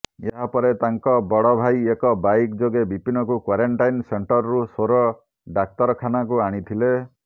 ଏହାପରେ ତାଙ୍କ ବଡ଼ ଭାଇ ଏକ ବାଇକ୍ ଯୋଗେ ବିପିନଙ୍କୁ କ୍ୱାରେଣ୍ଟାଇନ୍ ସେଣ୍ଟରରୁ ସୋର ଡାକ୍ତରଖାନାକୁ ଆଣିଥିଲେ